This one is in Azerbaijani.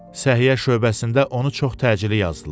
Səhiyyə şöbəsində onu çox təcili yazdılar.